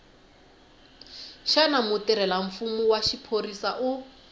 xana mutirhelamfumo wa xiphorisa u